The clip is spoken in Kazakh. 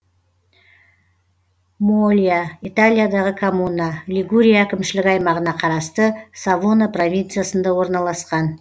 мьолья италиядағы коммуна лигурия әкімшілік аймағына қарасты савона провинциясында орналасқан